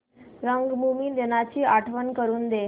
रंगभूमी दिनाची आठवण करून दे